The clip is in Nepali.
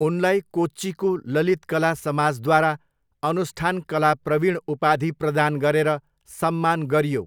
उनलाई कोच्चीको ललित कला समाजद्वारा अनुष्ठान कला प्रविण उपाधि प्रदान गरेर सम्मान गरियो।